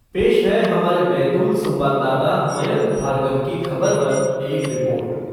पेश है हमारे बैतूल संवाददाता मयंक भार्गव की खबर पर एक रिपोर्ट